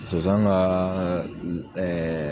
Sonsan ka